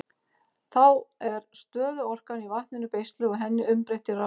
Þá er stöðuorkan í vatninu beisluð og henni umbreytt í raforku.